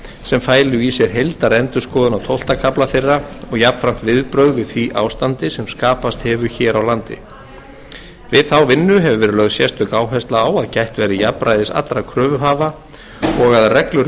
sem fælu í sér heildarendurskoðun á tólfta kafla þeirra og jafnframt viðbrögð við því ástandi sem skapast hefur hér á landi við þá vinnu hefur verið lögð sérstök áhersla á að gætt verði jafnræðis allra kröfuhafa og að reglur um